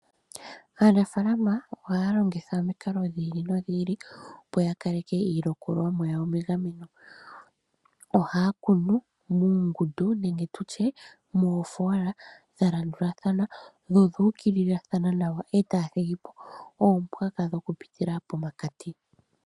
Aaanafaalama ohaya longitha omikalo dhiili no dhiili, opo ya kaleke iilikolomwa yawo megameno. Ohaya kunu muungudu nenge tutye moofola dha landulathana nodhu ukililathana nawa, etaya thigipo oompwaka dhoku pitila poma kati.